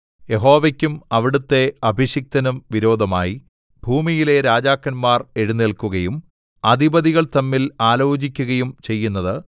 യഹോവയ്ക്കും അവിടുത്തെ അഭിഷിക്തനും വിരോധമായി ഭൂമിയിലെ രാജാക്കന്മാർ എഴുന്നേല്ക്കുകയും അധിപതികൾ തമ്മിൽ ആലോചിക്കുകയും ചെയ്യുന്നത്